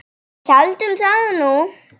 Við héldum það nú.